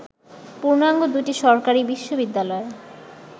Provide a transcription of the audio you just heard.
পূর্ণাঙ্গ দুটি সরকারি বিশ্ববিদ্যালয়